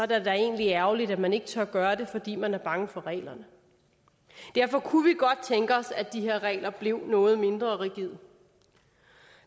da egentlig ærgerligt at man ikke tør gøre det fordi man er bange for reglerne derfor kunne vi godt tænke os at de her regler blev noget mindre rigide